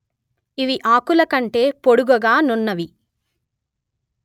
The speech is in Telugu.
ఇవి ఆకుల కంటె పొడుగగా నున్నవి